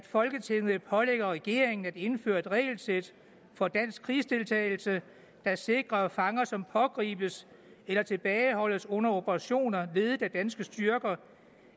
folketinget pålægger regeringen at indføre et regelsæt for dansk krigsdeltagelse der sikrer at fanger som pågribes eller tilbageholdes under operationer ledet af danske styrker